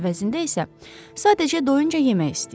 Əvəzində isə sadəcə doyunca yemək istəyir.